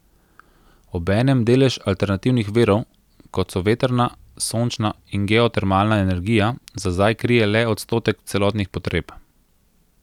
Obenem delež alternativnih virov, kot so vetrna, sončna in geotermalna energija, za zdaj krije le odstotek celotnih potreb.